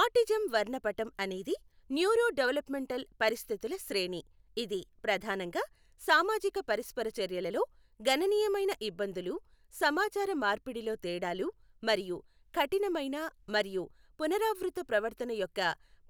autism వర్ణపటం అనేది neuro developmental పరిస్థితుల శ్రేణి, ఇది ప్రధానంగా సామాజిక పరస్పర చర్యలలో గణనీయమైన ఇబ్బందులు, సమాచార మార్పిడిలో తేడాలు మరియు కఠినమైన మరియు పునరావృత ప్రవర్తన యొక్క